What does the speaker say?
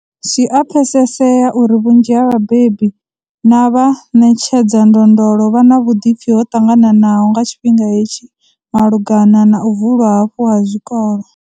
Zwi a pfesesea uri vhu nzhi ha vhabebi na vha ṋetshedza ndondolo vha na vhuḓipfi ho ṱangananaho nga tshifhinga hetshi malugana na u vulwa hafhu ha zwikolo.